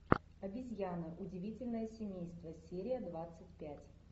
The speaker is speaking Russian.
обезьяны удивительное семейство серия двадцать пять